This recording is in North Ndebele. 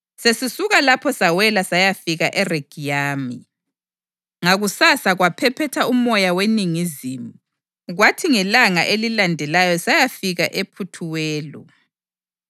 Sesisuka lapho sawela sayafika eRegiyumi. Ngakusasa kwaphephetha umoya weningizimu, kwathi ngelanga elilandelayo sayafika ePhuthewoli.